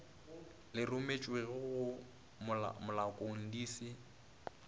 le rometšwego malokong di se